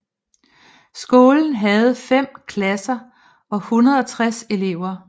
Skolen havde fem klasser og 160 elever